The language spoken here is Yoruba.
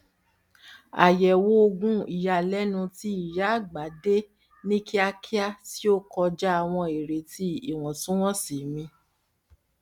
àyẹwò ogún iyalẹnu tí ìyá àgbà dé ní kíákíá tí ó kọjá àwọn ireti ìwọntúnwọnsì mi